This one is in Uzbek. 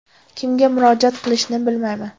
Kimga murojaat qilishni bilmayman.